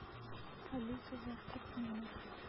алиса завтрак в номер